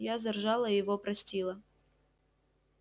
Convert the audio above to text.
я заржала и его простила